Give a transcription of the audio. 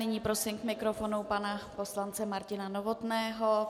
Nyní prosím k mikrofonu pana poslance Martina Novotného.